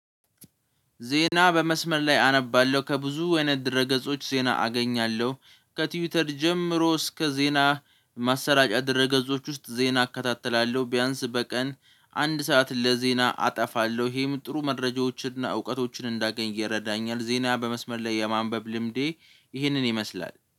ዜና በመስመር ላይ አነባለሁ ከብዙ አይነት ድረ ገጾች ዜና አገኛለሁ ከትዊተር ጀምሮ እስከ ዜና ማሰራጫ ድረ ገጾች ውስጥ ዜና እከታተላለሁ። ቢያንስ በቀን አንድ ሰዓት ለዜና አጠፋለሁ ይሄም ጥሩ መረጃዎችንና እውቀቶች እንዳገኝ ይረዳኛል። ዜና በመስመር ላይ የማንበብ ልምዴ ይሄንን ይመስላል